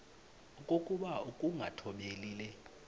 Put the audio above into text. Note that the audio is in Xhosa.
okokuba ukungathobeli le